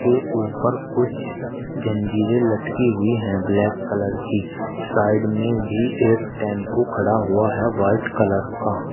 ये ऊपर कुछ जंजीरें लटकी हुई हैं ब्लैक कलर की साइड में भी एक टेंपू खड़ा हुआ है वाइट कलर का।